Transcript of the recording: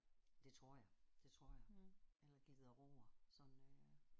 Det tror jeg. Det tror jeg eller glider over sådan øh